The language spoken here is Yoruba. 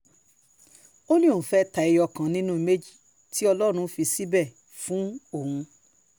ó ní òun fẹ́ẹ́ ta ẹyọ kan nínú méjì tí ọlọ́run fi síbẹ̀ fún òun